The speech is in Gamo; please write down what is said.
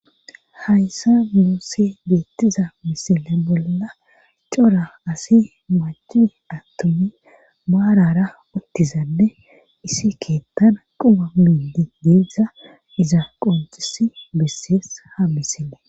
Hayssa muossi beettiza misile bolla cora asi maci attomi baarara uttizanne isi keettana quma miindi deessza iza qoncisi bessees habisine.